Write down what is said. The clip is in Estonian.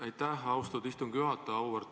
Aitäh, austatud istungi juhataja!